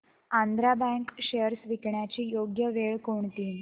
Andhra bank shares विकण्याची योग्य वेळ कोणती